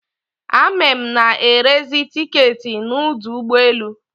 Ame na-erezi tiketị n'udu ụgbọelu